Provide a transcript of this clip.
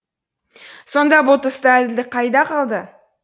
сонда бұл тұста әділдік қайда қалды